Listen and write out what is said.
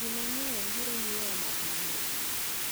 Ji mang`eny biro nyiewo math mang`ich.